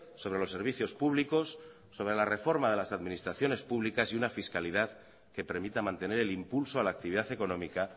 sobre los servicios públicos sobre la reforma de las administraciones públicas y una fiscalidad que permita mantener el impulso a la actividad económica